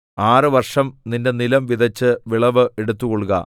ആറ് വർഷം നിന്റെ നിലം വിതച്ച് വിളവ് എടുത്തുകൊള്ളുക